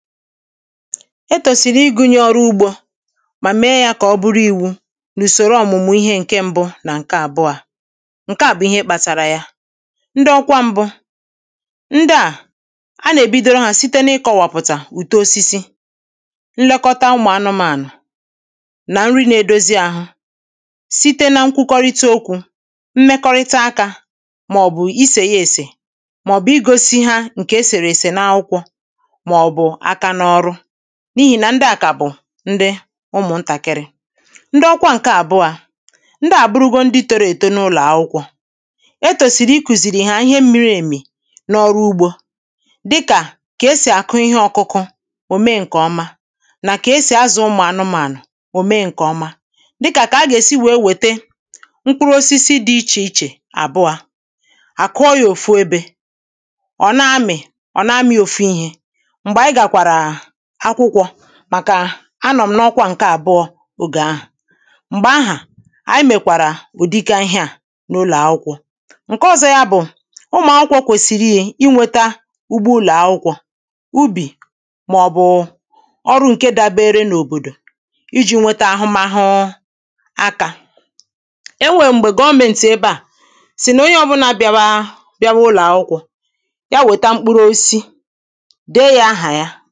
ẹ tòsìrì ịgụ̇nyė ọ̀rụ ugbȯ mà mẹ yȧ kà ọ̀ bụrụ i̇wu̇ n’ùsòro ọ̀mụmụ̇ ihe ǹke ṁbụ̇ nà ǹke àbụo a ǹke à bụ̀ ihe ị kpȧtàrà ya ndị ọkwa ṁbụ̇ ndịà a nà-èbidoro hȧ site n’ịkọ̇wàpụ̀tà uto osisi nlekọta ụmụ̀ anụmȧnụ̀ nà nrị na-edozi àhụ site na nkwukọrịta òkwù mmekọrịta akȧ mà ọ̀ bụ̀ isè ya èsè mà ọ̀ bụ̀ ịgosi ha ǹkè esèrè èsè n’akwụkwọ ma ọbu aka na ọrụ n’ihì nà ndị à kà bụ̀ ndị ụmụ̀ntàkịrị ndị ọkwa ǹkè àbụọ a ndị àbụrụgo ndị toro èto n’ụlọ̀ akwụkwọ e tòsìrì ikùzìrì ìhe à ihe mmiri èmì n’ọrụ ugbȯ dịkà kà esì àkụ ihe ọ̀kụkụ ò mee ǹkè ọma nà kà esì azà ụmụ̀ anụmȧnụ̀ ò mee ǹkè ọma dịkà kà a gà èsi wèe wète mkpụrụ osisi dị ichè ichè àbụọ à àkụọ yȧ òfu ebė ọ̀ na-amị̇ ọ̀ na-amị̇ òfu ihė Mgbe anyị gakwara akwụkwọ̇ màkà anọ̀ m̀nọkwa ǹkè àbụọ̇ ògè ahụ̀ m̀gbè ahà ànyị mèkwàrà ụ̀dịka ihė à n’ụlọ̀ akwụkwọ̇. ǹkè ọ̀zọ yȧ bụ̀ ụmụ̀ akwụkwọ̇ kwèsìrìyè inwėtȧ ugbo ụlọ̀ akwụkwọ̇, ubì màọ̀bụ̀ ọrụ ǹke dabere n’òbòdò iji̇ nwete ahụmahụ[paues] akȧ e nwèè m̀gbè gọọmėntị̀ ebe à sì nà onye ọbụnȧ bịawa bịawa ụlọ̀ akwụkwọ̇, ya wèta mkpụrụ osisi de yȧ ahà ya